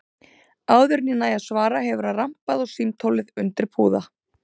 Áður en ég næ að svara hefur hann rambað á símtólið undir púða.